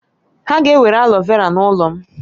Ha ga-ewere aloe vera n'ụlọ m